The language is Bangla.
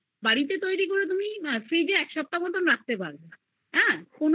করো বাড়িতে তৈরী করলে তুমি ওটা fridge এ এক সপ্তাহ এর মতো রাখতে